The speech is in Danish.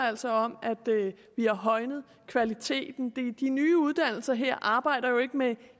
altså om at vi har højnet kvaliteten de nye uddannelser her arbejder jo ikke med